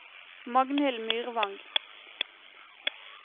Magnhild Myrvang